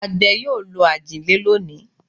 Àgbẹ̀ yóò lo ajile lónìí.